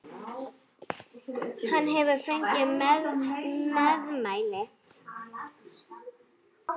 Hann hefur fengið meðmæli!